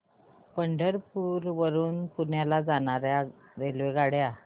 पंढरपूर वरून पुण्याला जाणार्या रेल्वेगाड्या